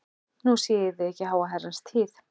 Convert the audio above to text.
Nú sé ég þig ekki í háa herrans tíð.